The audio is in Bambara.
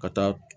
Ka taa